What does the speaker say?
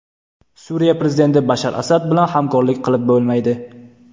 Suriya prezidenti Bashar Asad bilan hamkorlik qilib bo‘lmaydi.